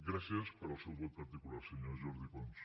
gràcies pel seu vot particular senyor jordi pons